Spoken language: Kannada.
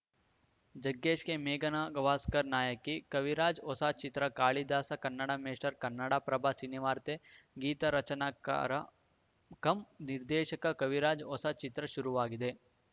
ಜಗ್ಗೇಶ್‌ಗೆ ಮೇಘನಾ ಗವಾಸ್ಕರ್ ನಾಯಕಿ ಕವಿರಾಜ್‌ ಹೊಸ ಚಿತ್ರ ಕಾಳಿದಾಸ ಕನ್ನಡ ಮೇಷ್ಟರ್ ಕನ್ನಡಪ್ರಭ ಸಿನಿವಾರ್ತೆ ಗೀತರಚನೆಕಾರ ಕಂ ನಿರ್ದೇಶಕ ಕವಿರಾಜ್‌ ಹೊಸ ಚಿತ್ರ ಶುರುವಾಗಿದೆ